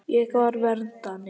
Ég var verndari.